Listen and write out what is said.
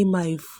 ima evu.